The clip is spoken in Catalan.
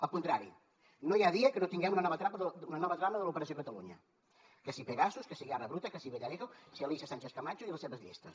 al contrari no hi ha dia que no tinguem una nova trama de l’operació catalunya que si pegasus que si guerra bruta que si villarejo si alícia sánchez camacho i les seves llistes